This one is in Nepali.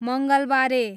मङ्गलबारे